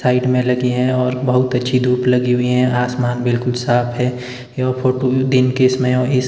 side में लगी हैं और बहुत अच्छी धूप लगी हुई हैं आसमान बिलकुल साफ हैं यह फोटो दिन में हैं और इस--